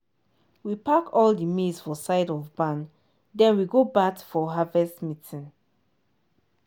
we pack all the maize for side of barn then we go bath for harvest meeting